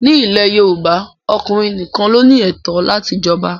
Ní ilẹ̀ Yorùbá, ọkùnrin nìkan ló ní ẹ̀tọ́ láti jọba